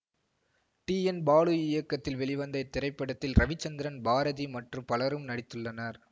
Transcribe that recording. D N Balu இயக்கத்தில் வெளிவந்த இத்திரைப்படத்தில் ரவிச்சந்திரன் பாரதி மற்றும் பலரும் நடித்துள்ளனர்